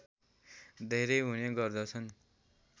धेरै हुने गर्दछन्